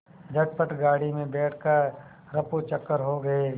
झटपट गाड़ी में बैठ कर ऱफूचक्कर हो गए